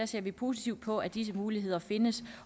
ser vi positivt på at disse muligheder findes